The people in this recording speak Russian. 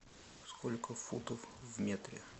сколько футов в метре